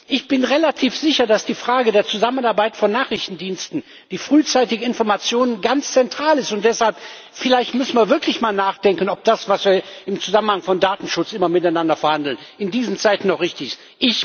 Ich bin relativ sicher, dass die Frage der Zusammenarbeit von Nachrichtendiensten, die frühzeitige Information, ganz zentral ist, und deshalb muss man vielleicht wirklich mal nachdenken, ob das, wir im Zusammenhang von Datenschutz immer miteinander verhandeln, in diesen Zeiten auch richtig